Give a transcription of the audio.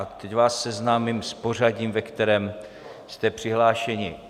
A teď vás seznámím s pořadím, ve kterém jste přihlášeni.